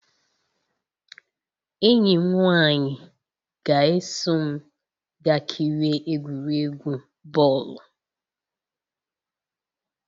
Enyi m nwanyị ga-eso m gaa kirie egwuregwu bọọlụ.